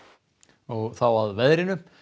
og þá að veðri